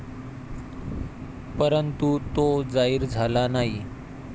परंतु तो जाहीर झाला नाही.